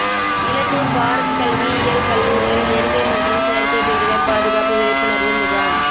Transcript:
இலத்தூா் பாரத் கல்வியியல் கல்லூரியில் இயற்கை மற்றும் செயற்கை பேரிடா் பாதுகாப்பு விழிப்புணா்வு முகாம்